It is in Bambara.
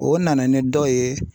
O nana ni dɔw ye.